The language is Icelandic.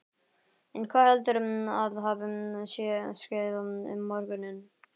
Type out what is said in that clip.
En hvað heldurðu að hafi svo skeð um morguninn?